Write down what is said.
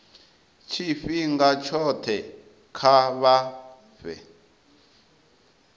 tshifhinga tshothe kha vha fhe